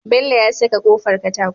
Bello ya saka kofar katako